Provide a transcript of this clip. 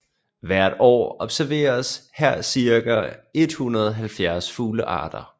Hvert år observeres her cirka 170 fuglearter